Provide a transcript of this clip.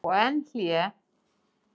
Og enn hlé.